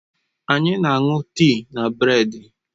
Anyị na-aṅụ tii na bredi.